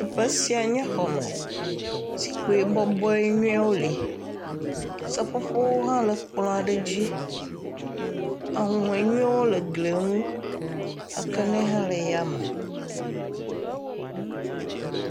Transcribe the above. Teƒe siae nye xɔ me. Zikpui bɔbɔ nyuiwo li. Seƒoƒo hã le kplɔ aɖe dzi. Ahuhɔe nyuiwo le gli nu. Akaɖi hã le eya me.